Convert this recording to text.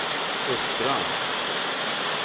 Uttran